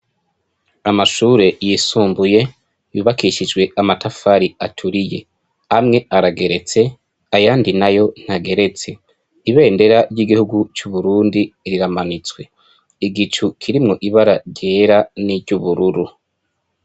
Amashure yisumbuye yubakishijwe amatafari aturiye. Amwe arageretse, ayandi n'ayo ntageretse . Ibendera ry'igihugu c'Uburundi riramanitswe. Iigicu kirimwo ibara ryera niry'ubururu.